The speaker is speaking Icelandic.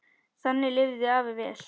Þannig lifði afi vel.